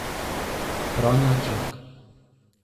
Franja Čok.